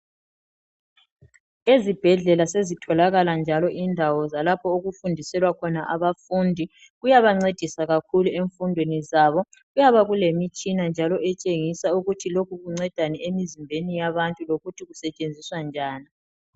Ezibhedlela sezitholakalamnjalo indawo zokufundisela abafundi. Lokhu kuyabancedisa. Kuyabe kulemitshina etshengisa ukuthi lokhu kuncedani em8zimbeni yabantu. Lokuthi kusetshenziswa njani,